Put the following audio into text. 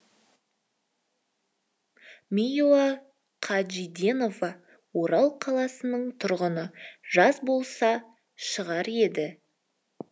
миуа қажиденова орал қаласының тұрғыны жаз болса шығар еді